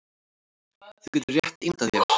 Þú getur rétt ímyndað þér